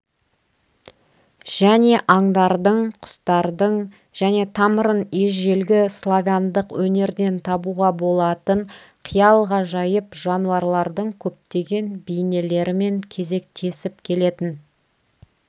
және аңдардың құстардың және тамырын ежелгі-славяндық өнерден табуға болатын қиял ғажайып жануарлардың көптеген бейнелерімен кезектесіп келетін